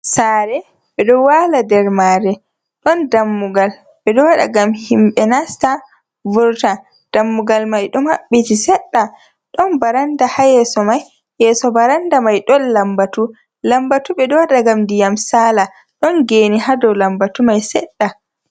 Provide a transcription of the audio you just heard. Sare be ɗon wala nder mare. Ɗon dammugal beɗo waɗa ngam himbe nasta vurta. Dammugal mai fo mabbiti seɗɗa. Ɗon baranɗa ha yeso mai. yeso baranɗa mai ɗon lambatu. lambatu beɗo waɗa ngam ndiyam sala. Ɗon ge'nr ha dow lambatu mai seɗɗa.